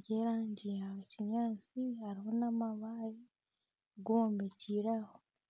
by'erangi ya kinyaatsi hariho n'amaabare gombekire aho.